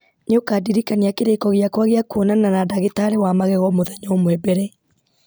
nĩ ũkandirikania kĩrĩko gĩakwa gĩa kwonana na ndagĩtarĩ wa magego mũthenya ũmwe mbere